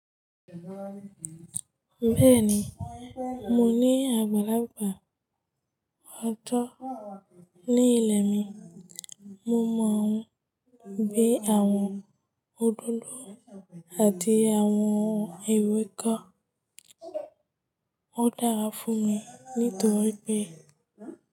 Bẹ́ẹ̀ni, mo ní àgbàlagbà. A tọ́ ní ilẹ̀ mi. Mo mọ ún gbé àwọn òdòdó àti àwọn ewe kọ́. Ó dàra fún mi nítorípé.